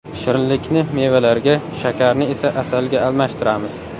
Shirinlikni mevalarga, shakarni esa asalga almashtiramiz.